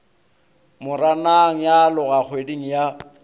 moranang ya aloga kgweding ya